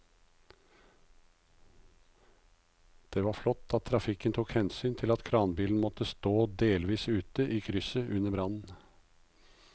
Det var flott at trafikken tok hensyn til at kranbilen måtte stå delvis ute i krysset under brannen.